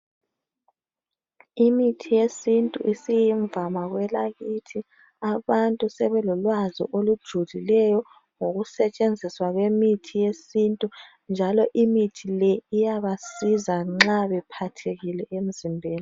Imithi yesintu isiyimvama kwelakithi abantu sebelolwazi olujulileyo ngokusetshenziswa kwemithi yesintu njalo imithe le iyabasiza nxa bephathekile emzimbeni .